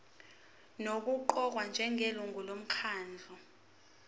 nokuqokwa njengelungu lomkhandlu